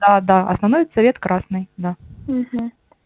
а да основной цвет красный ага